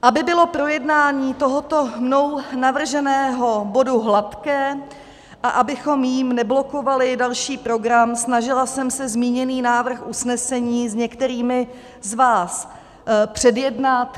Aby bylo projednání tohoto mnou navrženého bodu hladké a abychom jím neblokovali další program, snažila jsem se zmíněný návrh usnesení s některými z vás předjednat.